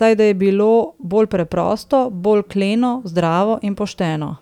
saj da je bilo bolj preprosto, bolj kleno, zdravo in pošteno.